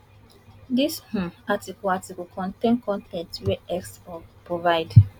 dis um article article contain con ten t wey x provide